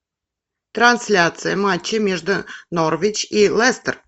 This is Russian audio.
трансляция матча между норвич и лестер